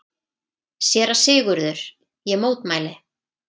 SÉRA SIGURÐUR: Ég mótmæli!